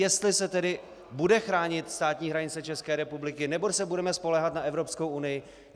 Jestli se tedy bude chránit státní hranice České republiky, nebo se budeme spoléhat na Evropskou unii?